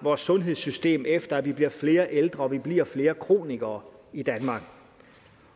vores sundhedssystem efter at vi bliver flere ældre og vi bliver flere kronikere i danmark